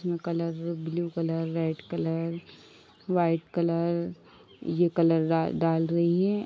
इसमें colour blue colour red colour white colour ये colour रा डाल रहीं हैं।